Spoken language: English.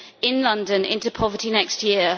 in London into poverty next year.